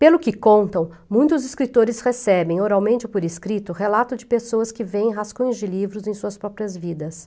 Pelo que contam, muitos escritores recebem, oralmente ou por escrito, relatos de pessoas que veem rascunhos de livros em suas próprias vidas.